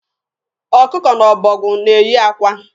Ọkụkọ na ọbọgwụ na-eyi akwa.